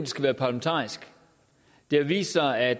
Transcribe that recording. skal være parlamentarisk det har vist sig at